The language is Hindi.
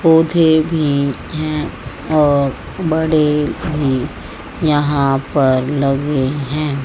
पौधे भी हैं और बड़े है यहां पर लगे हैं।